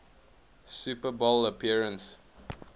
super bowl appearance